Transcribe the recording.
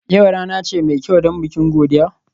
Yau rana ce mai kyau don bikin godiya?